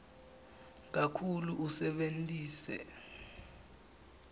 kakhulu usebentise